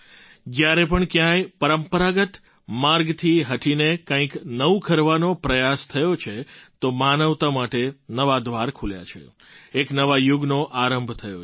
જ્યારે પણ ક્યાંય પરંપરાગત માર્ગથી હટીને કંઈક નવું કરવાનો પ્રયાસ થયો છે તો માનવતા માટે નવાં દ્વાર ખુલ્યાં છે એક નવા યુગનો આરંભ થયો છે